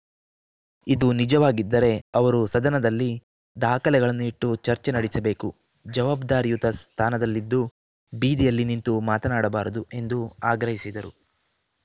ಇದು ನಿಜವಾಗಿದ್ದರೆ ಅವರು ಸದನದಲ್ಲಿ ದಾಖಲೆಗಳನ್ನು ಇಟ್ಟು ಚರ್ಚೆ ನಡೆಸಬೇಕು ಜವಾಬ್ದಾರಿಯುತ ಸ್ಥಾನದಲ್ಲಿದ್ದು ಬೀದಿಯಲ್ಲಿ ನಿಂತು ಮಾತನಾಡಬಾರದು ಎಂದು ಆಗ್ರಹಿಸಿದರು